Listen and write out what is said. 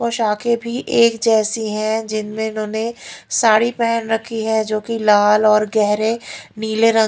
पोशाके भी एक जैसी हैं जिनमें इन्होंने साड़ी पहन रखी है जो कि लाल और गहरे नीले रंग--